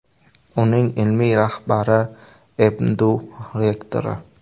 Uning ilmiy rahbari MDU rektori.